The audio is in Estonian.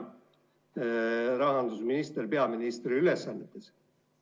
Hea rahandusminister peaministri ülesannetes!